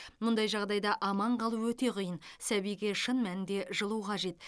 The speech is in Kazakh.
мұндай жағдайда аман қалу өте қиын сәбиге шын мәнінде жылу қажет